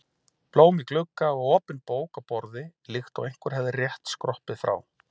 Blóm í glugga og opin bók á borði líkt og einhver hefði rétt skroppið frá.